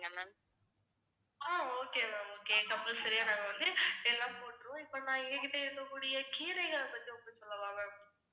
okay compulsory ஆ நாங்க வந்து எல்லாம் போட்டிருவோம். இப்ப நான் எங்ககிட்ட இருக்கக்கூடிய கீரைகள்ல பத்தி உங்ககிட்ட சொல்லவா ma'am